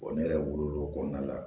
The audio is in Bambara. ne yɛrɛ wolo o kɔnɔna la